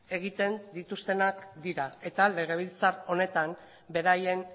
egiten dituztenak dira eta legebiltzar honetan beraien